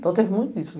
Então, teve muito disso.